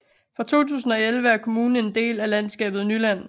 Fra 2011 er kommunen en del af landskabet Nyland